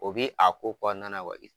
O bi a ko kɔnɔna na